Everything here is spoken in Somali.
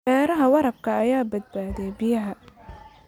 Beeraha waraabka ayaa badbaadiya biyaha.